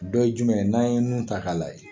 Dɔ ye jumɛn ye? N'a ye nun ta k'a lajɛ